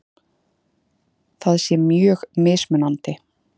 Það sé mjög mismunandi